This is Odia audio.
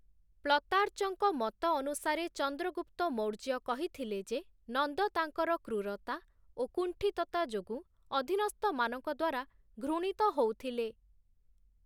ପ୍ଳତାର୍ଚଙ୍କ ମତ ଅନୁସାରେ ଚନ୍ଦ୍ରଗୁପ୍ତ ମୌର୍ଯ୍ୟ କହିଥିଲେ ଯେ, ନନ୍ଦ ତାଙ୍କର କ୍ରୁରତା ଓ କୁଣ୍ଠିତତା ଯୋଗୁଁ ଅଧିନସ୍ଥମାନଙ୍କଦ୍ୱାରା ଘୃଣିତ ହଉଥିଲେ ।